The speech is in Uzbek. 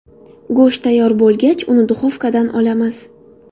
Go‘sht tayyor bo‘lgach, uni duxovkadan olamiz.